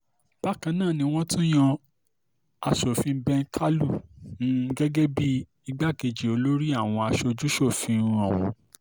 bákan náà ni wọ́n tún yan aṣòfin ben kàlú um gẹ́gẹ́ bíi igbákejì olórí àwọn aṣojú-ṣòfin um ọ̀hún